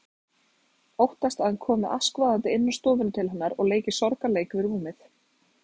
Óttast að hann komi askvaðandi inn á stofuna til hennar og leiki sorgarleik við rúmið.